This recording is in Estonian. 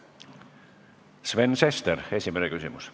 Sven Sester, esimene küsimus.